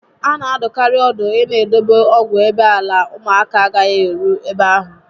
A na adụkarị ọdụ ịna edobe ọgwụ ebe ala ụmụaka agaghị eru ebe ahụ